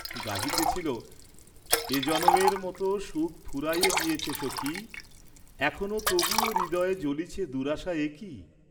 গাহিতেছিল, এ জনমের মত সুখ ফুরায়ে গিয়েছে সখি, এখনো তবুও হৃদয়ে জ্বলিছে দুরাশা একি?